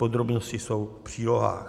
Podrobnosti jsou v přílohách.